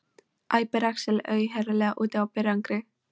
æpir Axel, auðheyrilega úti á berangri.